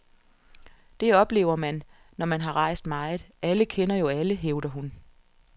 Det oplever man, når man har rejst meget, alle kender jo alle, hævder hun.